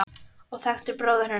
og þekktir bróður hennar.